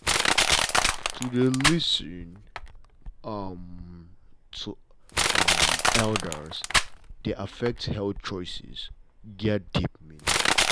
to dey lis ten um to um elders dey affect health choices get deep meaning